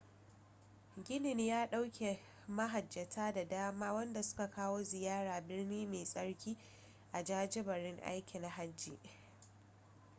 ginin ya dauke mahajjata da dama wadanda suka kawo ziyara birni mai tsarki a jajiberin aikin hajji